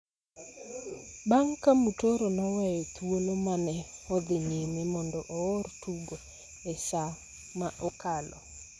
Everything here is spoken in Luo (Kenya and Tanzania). bang� ka Mutoro noweyo thuolo ma ne odhi nyime mondo oor tugo e saa ma okalo.